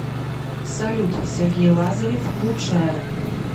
салют сергей лазарев лучшая